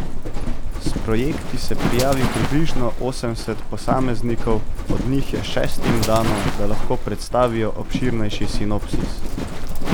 S projekti se prijavi približno osemdeset posameznikov, od njih je šestim dano, da lahko predstavijo obširnejši sinopsis.